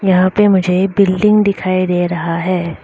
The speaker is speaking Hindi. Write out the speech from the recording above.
यहां पे मुझे बिल्डिंग दिखाई दे रहा है।